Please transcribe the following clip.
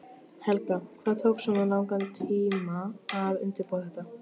Helga: Hvað tók svona langan tíma að undirbúa þetta?